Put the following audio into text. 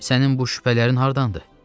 Sənin bu şübhələrin hardandır?